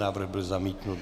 Návrh byl zamítnut.